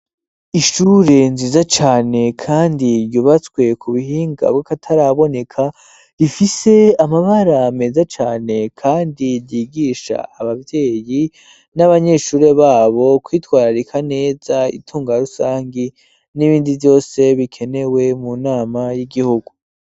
Ishure nziza cane kandi ryubatswe ku bihinga bwakataraboneka, rifise amabara meza cane kandi ryigisha abavyeyi n'abanyeshure babo kwitwararika neza itunga rusangi n'ibindi vyose bikenewe mu nama y'igihugu.